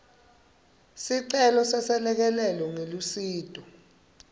sicelo seselekelelo ngelusito